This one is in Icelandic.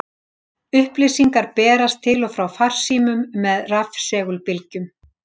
Upplýsingar berast til og frá farsímum með rafsegulbylgjum.